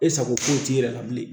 E sago foyi t'i yɛrɛ la bilen